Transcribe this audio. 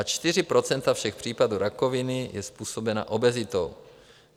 Až 4 % všech případů rakoviny jsou způsobena obezitou.